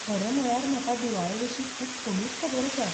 खरें म्हळ्यार, म्हाका दिवाळेविशीं खूब कमीच खबर आसा.